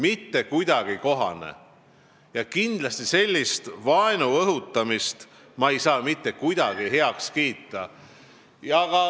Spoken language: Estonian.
Ja kindlasti ma ei saa sellist vaenu õhutamist mitte kuidagi heaks kiita.